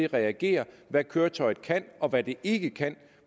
reagerer hvad køretøjet kan og hvad det ikke kan